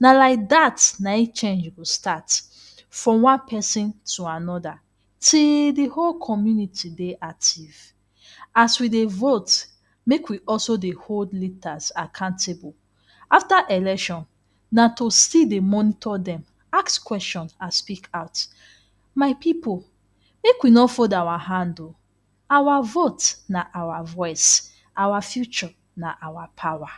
na like dat na im change go start from one person to another till de whole community dey active. As we dey vote make we also dey hold leaders accountable. After election na to still dey monitor dem, ask question and speak out, my pipu make we no fold our hand oo, our vote na our voice, our future na our power.